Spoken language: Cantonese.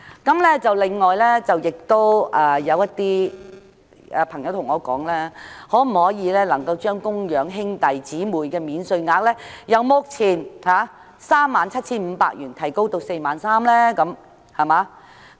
此外，亦有朋友問我政府可否將供養兄弟姊妹免稅額由目前的 37,500 元提升至 43,000 元。